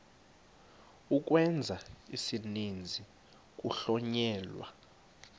ukwenza isininzi kuhlonyelwa